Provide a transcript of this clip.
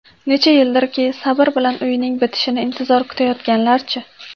Necha yildirki sabr bilan uyining bitishini intizor kutayotganlarchi?